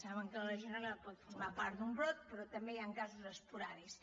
saben que la legionel·la pot formar part d’un brot però també hi han casos espo·ràdics